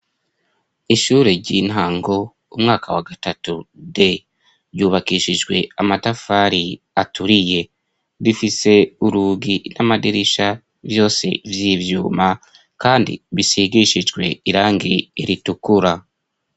Ishure ry'intango umwaka wa gatatu D, ryubakishijwe amatafari aturiye. Rifise urugi n'amadirisha vyose vy'ivyuma kandi bisigishijwe irangi ritukura.